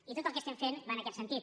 i tot el que fem va en aquest sentit